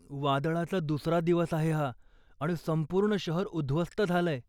वादळाचा दुसरा दिवस आहे हा आणि संपूर्ण शहर उद्ध्वस्त झालंय.